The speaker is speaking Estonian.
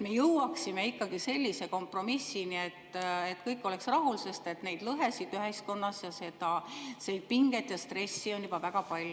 Me jõuaksime sellise kompromissini, et kõik oleks rahul, sest neid lõhesid ühiskonnas ning seda pinget ja stressi on juba väga palju.